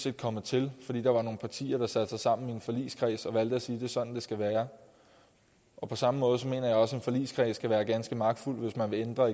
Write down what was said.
er kommet til fordi der var nogle partier der satte sig sammen i en forligskreds og valgte at sige det sådan det skulle være og på samme måde mener jeg også at en forligskreds kan være ganske magtfuld hvis man vil ændre